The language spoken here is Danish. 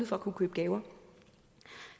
for at kunne købe gaver